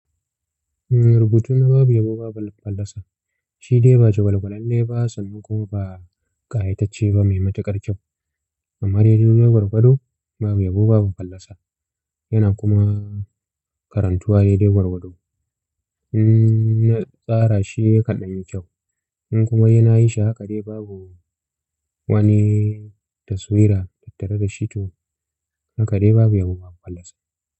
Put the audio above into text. Rubutu na babu yabo, babu fallasa. Shi dai ba jugwal-gwalalle ba sannan kuma ba ƙayatacce ba mai matuƙar kyau. Amma dai dai gwargwado babu yabo, babu fallasa yana kuma karantuwa dai dai gwargwado. Na tsara shi yakan dan yi kyau in kuma yana shi haka dai babu wani taswira tattare da shi to haka dai babu yabo, babu fallasa.